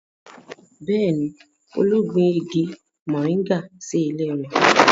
Bẹ́ẹ̀ni, Olú gbin igi moringa sí ilé rẹ̀